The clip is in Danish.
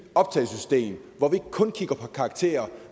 optagelsessystem hvor vi ikke kun kigger på karakterer